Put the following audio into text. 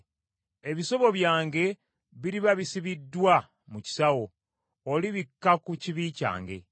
Ebisobyo byange biriba bisibiddwa mu kisawo; olibikka ku kibi kyange.